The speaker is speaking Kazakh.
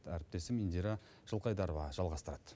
әріптесім индира жылқайдарова жалғастырады